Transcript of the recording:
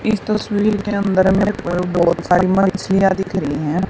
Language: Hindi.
इस तस्वीर के अंदर मेरे को एक बहुत सारी मछलियां दिख रही हैं।